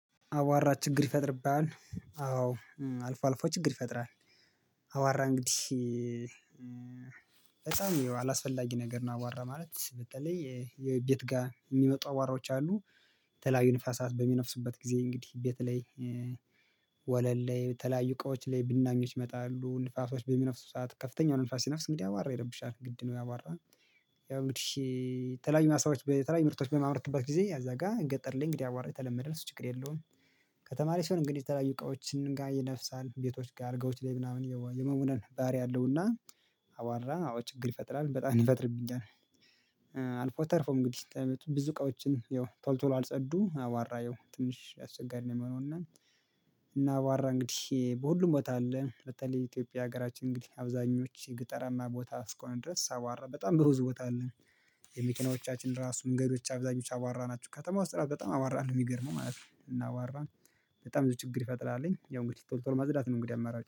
አዋራ ችግር ይፈጥርብሃል አዎ አልፎ አልፎ ችግር ይፈጥራል። አዋራ እንግዲህ ህፃን አላስፈላጊ ነገር እና አዋራ ማለት በተለይ የቤት ጋር የሚመጡ አዋራዎች አሉ። የተለያዩ ንፋሳት በሚነፍሱበት ጊዜ እንግዲህ በተለይ ወለል ላይ የተለያዩ እቃዎች ላይ ብናኞች ይመጣሉ ንፋሶች በምነፍሱ ሰዓት ከፍተኛው ንፋስ ሲነፍስ እንግዲህ አዋራ ይረብሻል ግድ ነው። አዋራ ያው እንግዲህ የተለያዩ ማሳዎች በተለያዩ ምርቶች በማመርትበት ጊዜ እዛ ጋር ገጠር ላይ እንግዲህ አዋራ የተለመደ ነው። እሱ ችግር የለውም። ከተማ ሲሆን እንግዲህ የተለያዩ እቃዎች ጋር ይነፍሳል ቤቶች ጋር አልጋዎች ላይ ምናምን የመቡነን ባህሪያ አለውና። አዋራ አዎ ችግር ይፈጥራል በጣም ይፈጥርብኛል። አልፎ ተርፎ እንግዲህ ብዙ እቃዎችን ያው ቶል ቶሎ አልጸዱ አዋራ ያው ትንሽ አስቸጋሪ ነው የሚሆነው እና እና አዋራ እንግዲህ በሁሉም ቦታ አለ። በተለይ የኢትዮጵያ ሀገራችን እንግዲህ አብዛኞቹ የገጠራማ ቦታ እስከሆንን ድረስ አቧራ በጣም ብዙ ቦታ አለ። የመኪናዎቻችን ራሱ መንገዶች አብዛኞች አዋራ ናቸው። ከተማ ውስጥ በጣም አዋራ ነው የሚገርመው ማለት ነው። እና አዋራ በጣም ብዙ ችግር ይፈጥራል ያው እንግዲህ ቶሎ ቶሎ ማጽዳት ነው። እንግዲህ አማራጭ